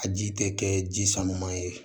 A ji tɛ kɛ ji samama ye